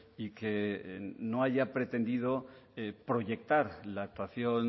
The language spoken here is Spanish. y que no haya pretendido proyectar la actuación